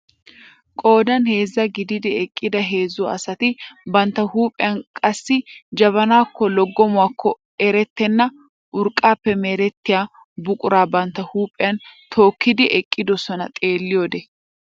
Qoodan heezzaa gidid eqqida heezzu asati bantta huuphphiyaan qassi jabanakonne loggomokkonne erettena urqqaappe merettiyaa buquraa bantta huuphphiyaan tookidi eqqidosona xeelliyoode.